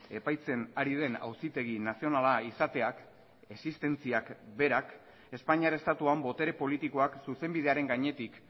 epaitzen ari den auzitegi nazionala izateak existentziak berak espainiar estatuan botere politikoak zuzenbidearen gainetik